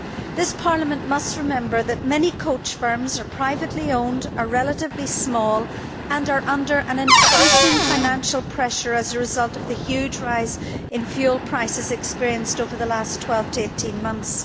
This Parliament must remember that many coach firms are privately owned, are relatively small and are under an increasing financial pressure as a result of the huge rise in fuel prices experienced over the last 12 to 18 months.